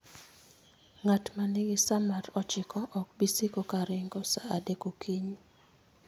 Ng'at ma nigi sa mar ochiko ok bi siko ka ringo sa adek okinyi